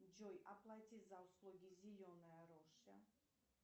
джой оплати за услуги зеленая роща